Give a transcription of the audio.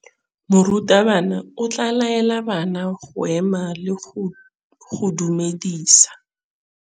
Morutabana o tla laela bana go ema le go go dumedisa.